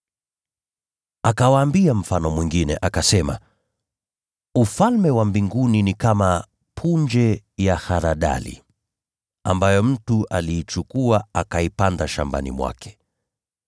Akawaambia mfano mwingine, akasema, “Ufalme wa Mbinguni ni kama punje ya haradali, ambayo mtu aliichukua, akaipanda shambani mwake.